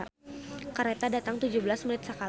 "Kareta datang tujuh belas menit sakali"